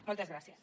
moltes gràcies